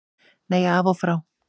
Nei, af og frá.